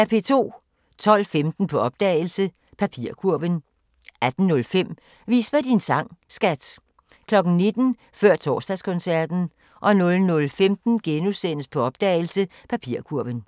12:15: På opdagelse – Papirkurven 18:05: Vis mig din sang, skat! 19:00: Før Torsdagskoncerten 00:15: På opdagelse – Papirkurven *